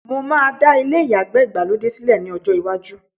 mo máa dá ilé ìyàgbẹ́ Ìgbàlódé sílẹ ní ọjọ lwaju